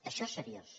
això és seriós